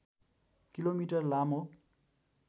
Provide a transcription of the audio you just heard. kilometre लामो